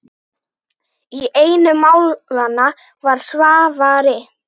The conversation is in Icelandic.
Í einu málanna var Svavari